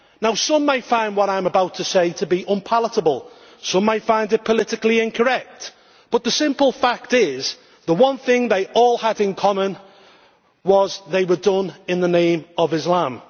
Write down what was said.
Now some may find what I am about to say to be unpalatable, some might find it politically incorrect, but the simple fact is the one thing they all had in common was they were done in the name of Islam.